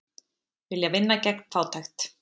Vilja vinna gegn fátækt